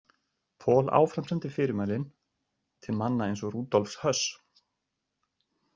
Pohl áframsendi fyrirmælin til manna eins og Rudolfs Höss.